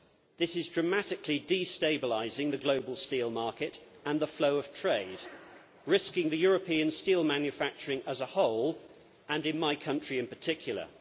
This is dramatically destabilising the global steel market and the flow of trade, risking European steel manufacturing as a whole and in my country in particular.